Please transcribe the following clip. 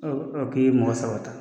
K'i ye mɔgɔ saba ta.